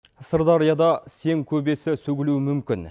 сырдарияда сең көбесі сөгілуі мүмкін